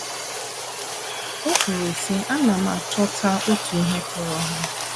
O kwuru sị: “ Ana m achọta otu ihe kọọrọ ha.